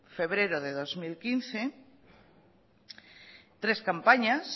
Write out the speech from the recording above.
febrero de dos mil quince tres campañas